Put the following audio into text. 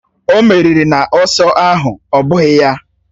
O meriri n’ọsọ ahụ, ọ́ bụghị ya?